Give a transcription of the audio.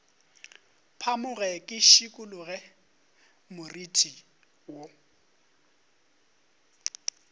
phamoge ke šikologe moriti wo